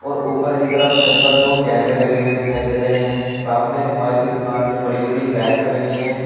ओ ऊपर की तरफ छत पर दो कैमरे लगे हुए दिखाई दे रहे हैं सामने मोबाइल की दुकान में बड़ी बड़ी रैक बनी हुई है।